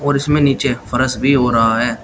और इसमें नीचे फर्श भी हो रहा है।